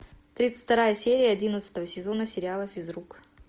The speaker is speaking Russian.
тридцать вторая серия одиннадцатого сезона сериала физрук